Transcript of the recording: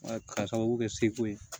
k'a sababu kɛ seko ye